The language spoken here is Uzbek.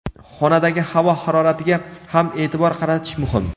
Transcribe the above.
Xonadagi havo haroratiga ham e’tibor qaratish muhim.